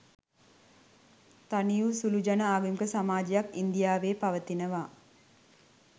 තනිවු සුළුජන ආගමික සමාජයක් ඉන්දියාවේ පවතිනවා